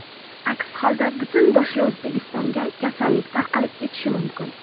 Aks holda butun boshli O‘zbekistonga kasallik tarqalib ketishi mumkin.